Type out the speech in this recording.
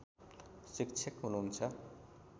शिक्षक हुनुहुन्छ